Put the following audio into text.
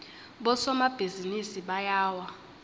bosomabhizinisi bayawa